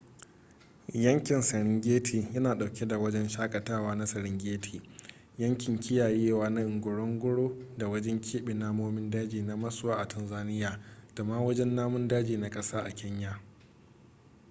yankin serengeti yana dauke da wajen shakatawa na serengeti yankin kiyayewa na ngorongoro da wajen keɓe namomin daji na maswa a tanzania da ma wajen namun daji na kasa a kenya